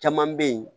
Caman bɛ yen